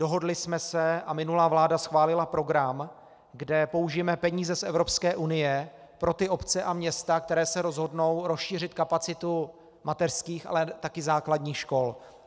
Dohodli jsme se - a minulá vláda schválila program, kde použijeme peníze z Evropské unie pro ty obce a města, které se rozhodnou rozšířit kapacitu mateřských, ale také základních škol.